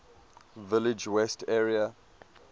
village west area